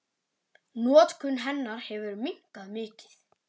Notkun hennar hefur minnkað mikið.